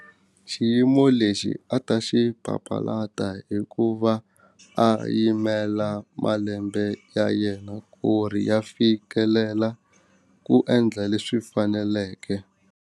Xiyimo lexi a ta xi papalata hi ku va a yimela malembe ya yena ku ri ya fikelela ku endla leswi faneleke.